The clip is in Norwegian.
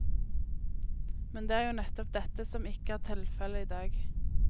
Men det er jo nettopp dette som ikke er tilfellet i dag.